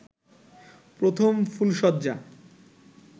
প্রথম ফুলশয্যা